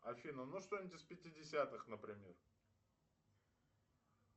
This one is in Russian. афина ну что нибудь из пятидесятых например